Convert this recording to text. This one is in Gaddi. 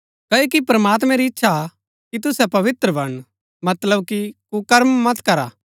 क्ओकि प्रमात्मैं री ईच्‍छा हा कि तुसै पवित्र बणन मतलब कि कुकर्म मत करा